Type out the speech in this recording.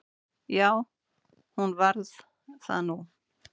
Já, hún varð það nú.